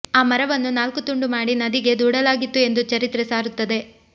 ಆ ಮರವನ್ನು ನಾಲ್ಕು ತುಂಡು ಮಾಡಿ ನದಿಗೆ ದೂಡಲಾಗಿತ್ತು ಎಂದು ಚರಿತ್ರೆ ಸಾರುತ್ತದೆ